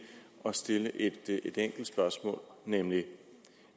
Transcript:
at stille et enkelt spørgsmål